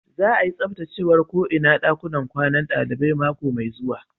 Za'a yi tsabtacewan ko inan dakunan kwanan dalibai mako mai zuwa.